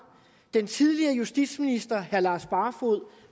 den tidligere justitsminister herre lars barfoed